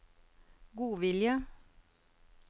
godvilje